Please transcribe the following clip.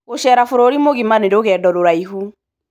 Gũceera bũrũri mũgima nĩ rũgendo rũraihu.